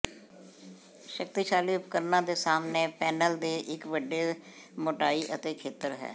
ਸ਼ਕਤੀਸ਼ਾਲੀ ਉਪਕਰਣਾਂ ਦੇ ਸਾਹਮਣੇ ਪੈਨਲ ਦੇ ਇੱਕ ਵੱਡੇ ਮੋਟਾਈ ਅਤੇ ਖੇਤਰ ਹੈ